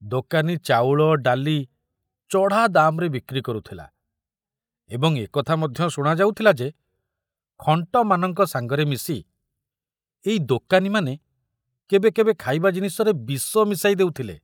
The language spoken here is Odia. ଦୋକାନୀ ଚାଉଳ ଡାଲି ଚଢ଼ା ଦାମରେ ବିକ୍ରି କରୁଥିଲା ଏବଂ ଏକଥା ମଧ୍ୟ ଶୁଣା ଯାଉଥିଲା ଯେ ଖଣ୍ଟମାନଙ୍କ ସାଙ୍ଗରେ ମିଶି ଏଇ ଦୋକାନୀମାନେ କେବେ କେବେ ଖାଇବା ଜିନିଷରେ ବିଷ ମିଶାଇ ଦେଉଥିଲେ।